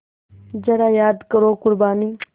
ज़रा याद करो क़ुरबानी